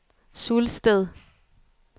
Sulsted